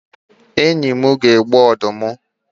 Enyi m ga-egbu udide